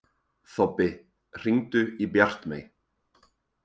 Þobbi, hringdu í Bjartmey.